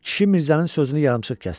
Kişi Mirzənin sözünü yarımçıq kəsdi.